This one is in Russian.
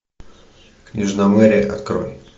княжна мери открой